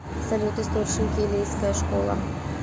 салют источники элейская школа